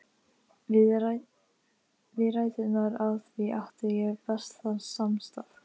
Við ræturnar á því átti ég bestan samastað.